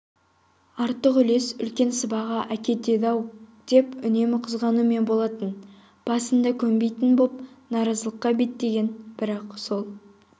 артық үлес үлкен сыбаға әкетеді-ау деп үнемі қызғанумен болатын басында көнбейтін боп наразылыққа беттеген бірақ сол